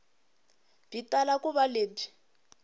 byi tala ku va lebyi